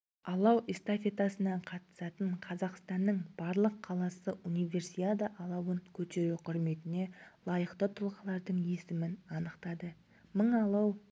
алау эстафетасына қатысатын қазақстанның барлық қаласы универсиада алауын көтеру құрметіне лайықты тұлғалардың есімін анықтады мың алау